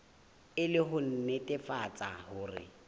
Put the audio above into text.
e le ho nnetefatsa hore